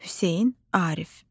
Hüseyn Arif.